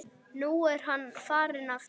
Nú er hann farinn aftur